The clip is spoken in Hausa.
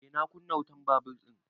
Eh na kunna wutan babur ɗin